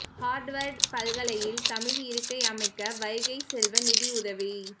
Harvard பல்கலையில் தமிழ் இருக்கை அமைக்க வைகைச் செல்வன் நிதி உதவி